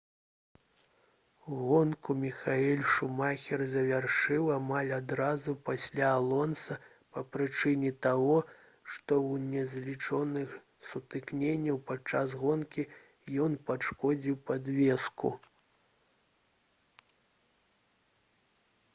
гонку міхаэль шумахер завяршыў амаль адразу пасля алонса па прычыне таго што ў незлічоных сутыкненнях падчас гонкі ён пашкодзіў падвеску